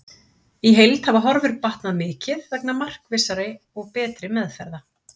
Í heild hafa horfur batnað mikið vegna markvissari og betri meðferða.